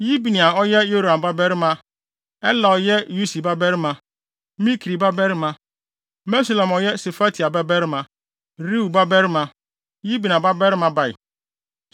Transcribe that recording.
Yibneia a ɔyɛ Yeroham babarima, Ela a ɔyɛ Usi babarima, Mikri babarima; Mesulam a ɔyɛ Sefatia babarima, Reuel babarima, Yibnia babarima bae.